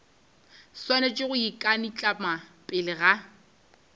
swanetše go ikanaitlama pele ga